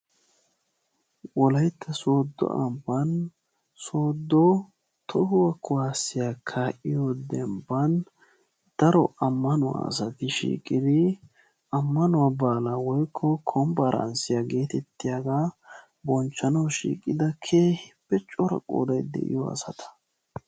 Wolaytta sooddo ambban sooddo tohuwa kuwaasiya kaa'iyo dembban daro ammanuwa asati shiiqidi ammanuwa baalaa woykko konpporanssiya geetettiyagaa bonchchanawu shiiqida keehippe cora qoodayi de'iyo asata.